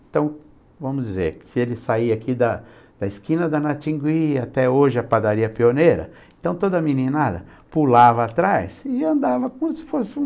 Então, vamos dizer que se ele saía aqui da da esquina da Natingui, até hoje a padaria pioneira, então toda meninada pulava atrás e andava como se fosse um...